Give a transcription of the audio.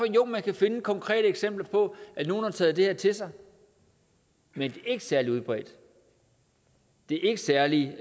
jo man kan finde konkrete eksempler på at nogle har taget det her til sig men det er ikke særlig udbredt det er ikke særlig